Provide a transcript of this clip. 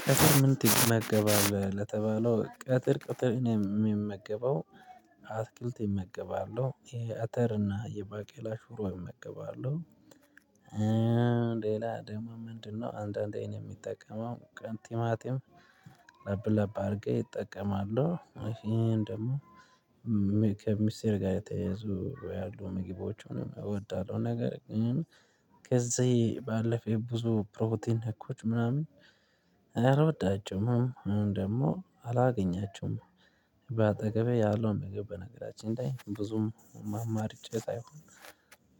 ቀትር ምን ትመገባለህ? ለተባለው ቀትር ቀትር የምመገበው አትክልት እመገባለሁ የአተር እና የባቄላ ሽሮ እመገባለሁ። ሌላ ደግሞ ምንድነው አንዳንዴ እኔ ምጠቀመው ቲማቲም ለብ ለብ አርጌ እጠቀማለሁ። ይህን ደግሞ ከምስር ጋር የተያያዙ ያሉ ምግቦችን እወዳለሁ። ነገር ግን ከዚህ ባለፈ ብዙ ፕሮቲን ነኮች ምናምን አልወዳቸውም ወይም ደግሞ አላገኛቸውም። በአጠገቤ ያለው ምግብ በነገራችን ላይ ብዙም አማርጬ ሳይሆን